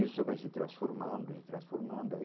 Isso vai se transformando, e transformando aí.